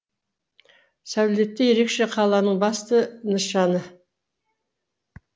сәулеті ерекше қаланың басты нышаны